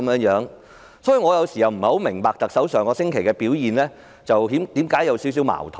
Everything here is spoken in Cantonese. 因此，我有時也不太明白為何特首上星期的表現有點矛盾。